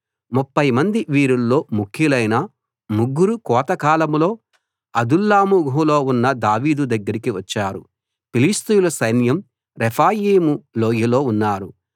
ముప్ఫై మంది వీరుల్లో ముఖ్యులైన ముగ్గురు కోతకాలంలో అదుల్లాము గుహలో ఉన్న దావీదు దగ్గరికి వచ్చారు ఫిలిష్తీయుల సైన్యం రెఫాయీము లోయలో ఉన్నారు